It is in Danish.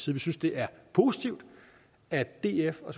vi synes det er positivt at df og